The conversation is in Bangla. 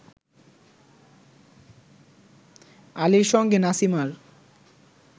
আলীর সঙ্গে নাসিমার